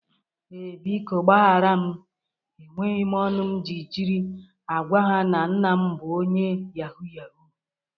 Ee, biko gbahara m. E nweghi m ọnụ m jiri agwa ha na nna m bụ onye yahoo yahoo.